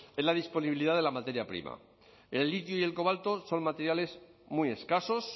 es la disponibilidad de la materia prima el litio y el cobalto son materiales muy escasos